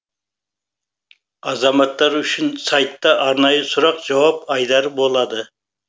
азаматтар үшін сайтта арнайы сұрақ жауап айдары болады